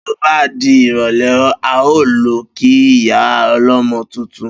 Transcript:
Bí ó bá di ìrò̩lé̩, a óò lo̩ kí ìyá o̩lo̩mo̩ tuntun